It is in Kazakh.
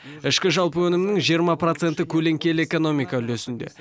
ішкі жалпы өнімнің жиырма проценті көлеңкелі экономика үлесінде